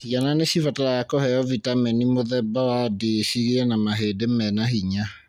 Ciana nĩ cibataraga kũheo vitamini mũthemba wa D cigĩe na mahĩndi mena hinya.